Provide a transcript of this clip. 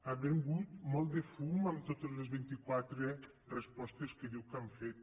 ha venut molt de fum en totes les vint·i·quatre respos·tes que diu que han fet